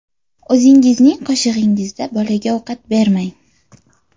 O‘zingizning qoshig‘ingizda bolaga ovqat bermang.